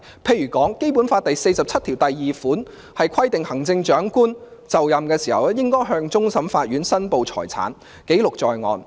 例如《基本法》第四十七條第二款規定行政長官就任時，應該向終審法院申報財產，記錄在案。